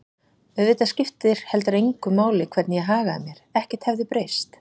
Auðvitað skipti heldur engu máli hvernig ég hagaði mér, ekkert hefði breyst.